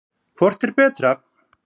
Hvort er betra?